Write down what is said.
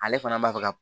Ale fana b'a fɛ ka